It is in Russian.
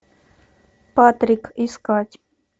патрик искать